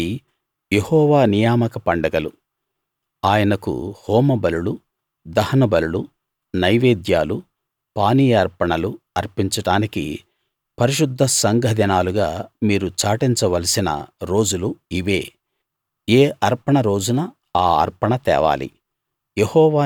ఇవి యెహోవా నియామక పండగలు ఆయనకు హోమ బలులు దహన బలులు నైవేద్యాలు పానీయార్పణలు అర్పించడానికి పరిశుద్ధ సంఘ దినాలుగా మీరు చాటించవలసిన రోజులు ఇవే ఏ అర్పణ రోజున ఆ అర్పణ తేవాలి